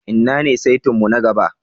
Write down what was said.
Inna ne saita'n mu na gaba?